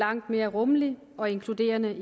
langt mere rummelig og inkluderende